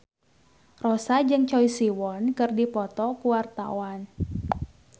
Rossa jeung Choi Siwon keur dipoto ku wartawan